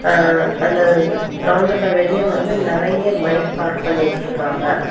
ஆ அந்த கிரவுண்டுக்கு வெளியே வந்து நறைய பைக் பார்க் பண்ணி வச்சிருக்காங்க.